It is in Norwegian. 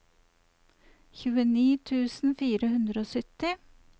tjueni tusen fire hundre og sytti